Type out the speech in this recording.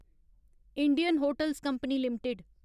Indian hotels company limited